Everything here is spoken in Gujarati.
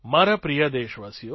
મારા પ્રિય દેશવાસીઓ